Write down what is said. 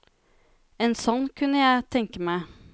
En sånn kunne jeg tenke meg.